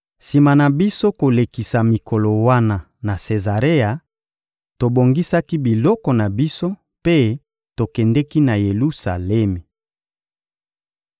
Sima na biso kolekisa mikolo wana na Sezarea, tobongisaki biloko na biso mpe tokendeki na Yelusalemi.